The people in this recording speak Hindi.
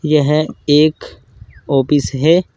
यह एक ऑफिस है।